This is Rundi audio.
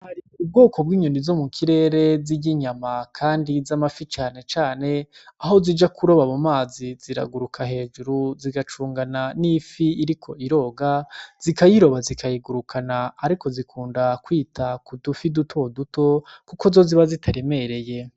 Hari ubwoko bw'inyoni zo mu kirere zirya inyama kandi z'amafi cane cane, aho zija kuroba mu mazi ziraguruka hejuru zigacungana n'ifi iriko iroga zikayiroba zikayigurukana ariko zikunda kwita ku dufi duto duto kuko zo ziba zitaremereye.